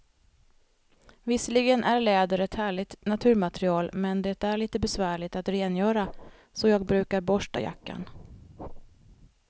Visserligen är läder ett härligt naturmaterial, men det är lite besvärligt att rengöra, så jag brukar borsta jackan.